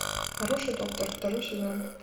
хороший доктор второй сезон